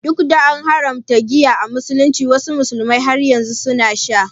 Duk da an haramta giya a musulunci, wasu musulmin har yanzu suna sha.